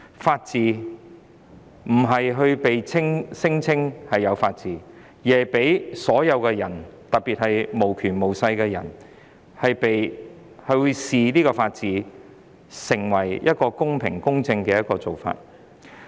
法治不是被宣稱擁有的，而是要被所有人，特別是無權無勢的人視為公平、公正的做法。